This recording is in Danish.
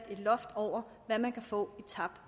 et loft over hvad man kan få i tabt